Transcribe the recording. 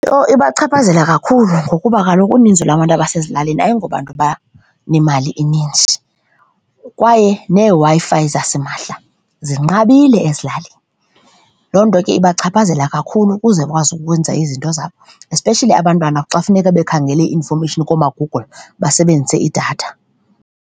Ibachaphazela kakhulu ngokuba kaloku uninzi lwabantu abasezilalini ayingobantu abanemali inintsi kwaye neeWi-Fi zasimahla zinqabile ezilalini. Loo nto ke ibachaphazela kakhulu ukuze bakwazi ukwenza izinto zabo especially abantwana xa funeka bekhangele i-infomeyishini koomaGoogle basebenzise idatha.